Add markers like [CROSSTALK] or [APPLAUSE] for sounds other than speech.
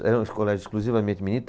Era um colégio exclusivamente [UNINTELLIGIBLE]